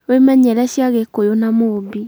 Wĩmenyere cia Gĩkũyũ na Mũmbi